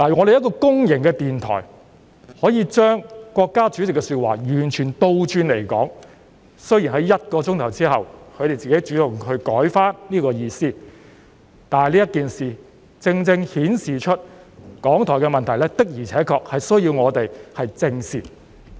一個公營電台竟然將國家主席的說話完全倒過來說，雖然他們在1小時後主動修改，但這件事正正顯示出港台的問題，我們的確需要正視。